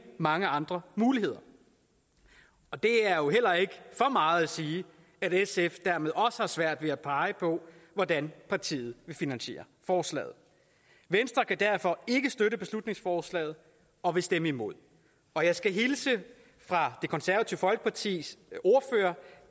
mange andre muligheder det er jo heller ikke for meget at sige at sf dermed også har svært ved at pege på hvordan partiet vil finansiere forslaget venstre kan derfor ikke støtte beslutningsforslaget og vil stemme imod og jeg skal hilse fra det konservative folkepartis ordfører